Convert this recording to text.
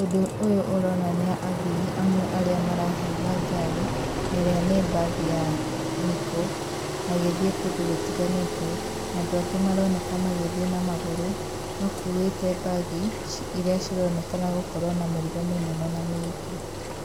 Ũndũ ũyũ ũronania athii amwe arĩa marahaimba ngari ne ĩrĩa nĩ mbathi ya NIKO magĩthiĩ kũndũ gũtiganĩte na andũ angĩ maronekana magĩthiĩ na magũrũ makuĩte mbagi iria cironekana gũkorwo na mĩrigo mĩnene na mĩritũ.